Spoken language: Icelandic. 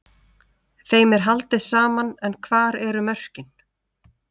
Þeim er haldið saman en hvar eru mörkin?